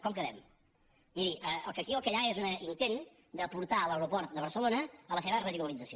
com quedem miri aquí el que hi ha és un intent de portar l’aeroport de barcelona a la seva residualització